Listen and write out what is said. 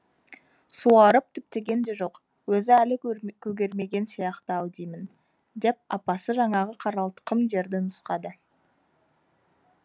суарып түптеген де жоқ өзі әлі көгермеген сияқты ау деймін деп апасы жаңағы қаралтқым жерді нұсқады